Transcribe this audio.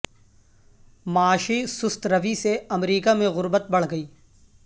معاشی سست روی سے امریکہ میں غربت بڑھ گئی